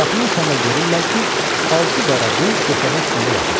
Qapını açanda görürlər ki, altı qara qul döşəmə üstündə yatıb.